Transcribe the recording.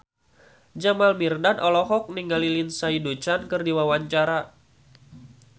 Jamal Mirdad olohok ningali Lindsay Ducan keur diwawancara